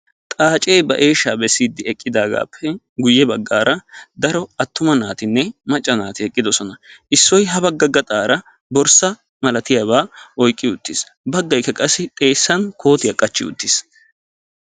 Xaacce ba eeshshaa bessiidi eqqidaagaappe guye baggaara daro attuma naatinne macca naati eqqidosona. Issoy ha bagga gaxxaara borssa malatiyaba oyqqi uttiis, baggaykka qassi xeessan kootiya qachchi uttiis.